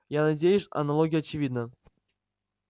я надеюсь аналогия очевидна